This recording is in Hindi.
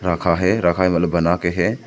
रखा है रखा है मतलब बना के है।